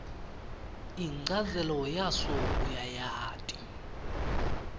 inchazelo yaso uyayati